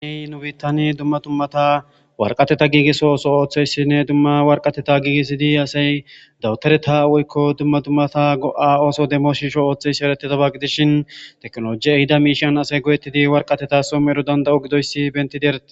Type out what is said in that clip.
niy nu biitani dumma dummata warqateta giiges ooso ooththeyssinne dumma warqateta giigesidi asay dawutareta woykko dumma dummata go7a ooso demoshisho ooththesi eretetaba gidishin teknoloji ehida miishan asay go7ettidi warqateta some ero danda7o gidoyssi bentidi erate